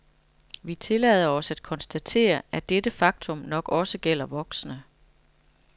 Vi tillader os at konstatere, at dette faktum nok også gælder voksne.